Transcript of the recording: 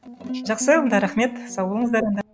жақсы онда рахмет сау болыңыздар онда